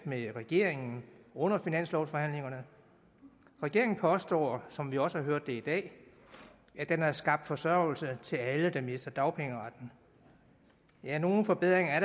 med regeringen under finanslovsforhandlingerne regeringen påstår som vi også har hørt det i dag at den har skabt forsørgelse til alle der mister dagpengeretten ja nogle forbedringer